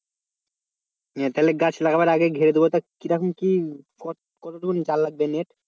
তাহলে গাছ লাগাবার আগে ঘিরে দেওয়াটা কি রকম কি কতটুকুন জাল লাগবে net?